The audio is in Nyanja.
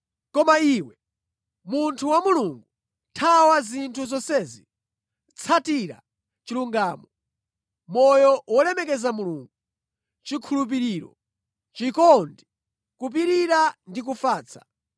Koma iwe, munthu wa Mulungu, thawa zinthu zonsezi. Tsatira chilungamo, moyo wolemekeza Mulungu, chikhulupiriro, chikondi, kupirira ndi kufatsa.